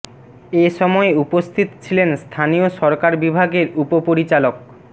এ সময় উপস্থিত ছিলেন স্থানীয় সরকার বিভাগের উপপরিচালক মো